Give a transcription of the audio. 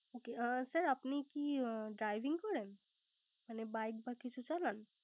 ওকে ও sir আপনি কি Dirving করেন মানে bike বা কিছু চালান